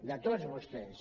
de tots vostès